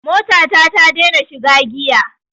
Mota ta ta dena shiga giya